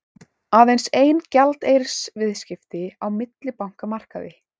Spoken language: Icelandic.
Aðeins ein gjaldeyrisviðskipti á millibankamarkaði